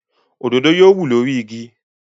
Òdòdó yóò wù lórí igi.